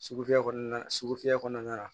Sugu fɛ kɔnɔna na sugufɛ fiyɛ kɔnɔna na